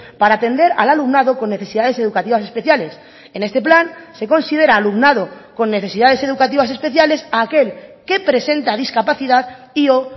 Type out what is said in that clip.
para atender al alumnado con necesidades educativas especiales en este plan se considera alumnado con necesidades educativas especiales a aquel que presenta discapacidad y o